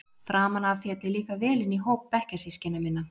Framan af féll ég líka vel inn í hóp bekkjarsystkina minna.